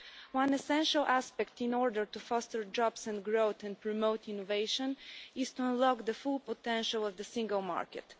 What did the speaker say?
One essential aspect, in order to foster jobs and growth and promote innovation, is to unlock the full potential of the Single Market.